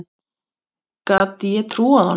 Gat ég trúað honum?